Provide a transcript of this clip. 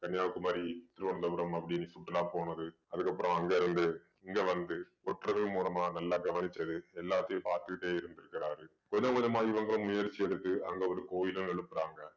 கன்னியாகுமரி திருவனந்தபுரம் அப்படின்னு சுற்றுலா போனது அதுக்கு அப்புறம் அங்க இருந்து இங்க வந்து ஒற்றர்கள் மூலமா நல்லா கவனிச்சது எல்லாத்தையும் பார்த்துகிட்டே இருந்திருக்கிறாரு கொஞ்சம் கொஞ்சமா இவங்க முயற்சி எடுத்து அங்க ஒரு கோயிலையும் எழுப்புறாங்க